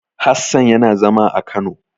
Hassan yana zama a Kano.